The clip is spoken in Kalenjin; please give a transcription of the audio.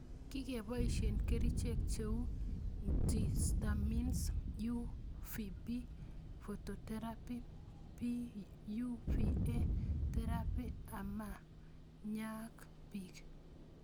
Kikepoishe kerichek cheu ntihistamines, UVB phototherapy, PUVA therapy ama nyaak pik